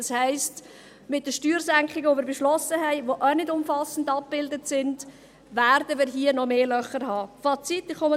Das heisst, mit den Steuersenkungen, die wir beschlossen haben, die auch nicht umfassend abgebildet sind, werden wir hier noch weitere Löcher haben.